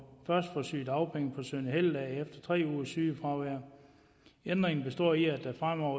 sygedagpenge på søn og helligdage efter tre ugers sygefravær ændringen består i at der fremover